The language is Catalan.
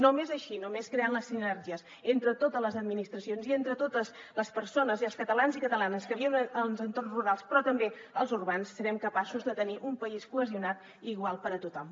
només així només creant les sinergies entre totes les administracions i entre totes les persones i els catalans i catalanes que viuen als entorns rurals però també als urbans serem capaços de tenir un país cohesionat i igual per a tothom